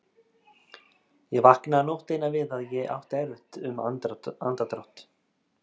Ég vaknaði nótt eina við að ég átti erfitt um andardrátt.